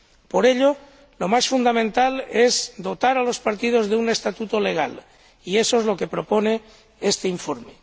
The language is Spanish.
Por ello, lo más fundamental es dotar a los partidos de un estatuto legal, y eso es lo que propone este informe